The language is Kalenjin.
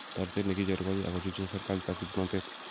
Toretet nekicheru ko ya, akochutchin sirkalit ak kipnotet.